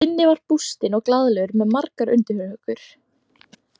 Binni var bústinn og glaðlegur með margar undirhökur.